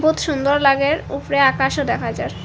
বহুত সুন্দর লাগের উফরে আকাশও দেখা যার ।